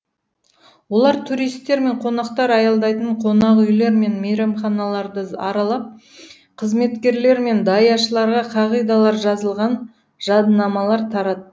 олар туристер мен қонақтар аялдайтын қонақүйлер мен мейрамханаларды аралап қызметкерлер мен даяшыларға қағидалар жазылған жадынамалар тарат